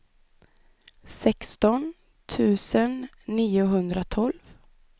sexton tusen niohundratolv